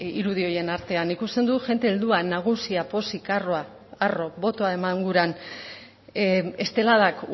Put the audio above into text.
irudi horien artean ikusten dut jende heldua nagusia pozik harroa botoa eman guran esteladak